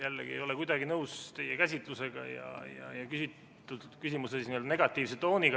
Jällegi ei ole kuidagi nõus teie käsitlusega ja küsimuse negatiivse tooniga.